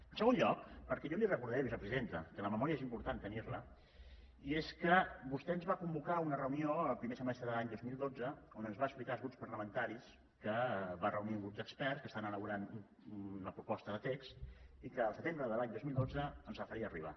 en segon lloc perquè jo li ho recordaré vicepresidenta que la memòria és important tenir la i és que vostè ens va convocar a una reunió en el primer semestre de l’any dos mil dotze on ens va explicar als grups parlamentaris que va reunir un grup d’experts que estan elaborant una proposta de text i que al setembre de l’any dos mil dotze ens el faria arribar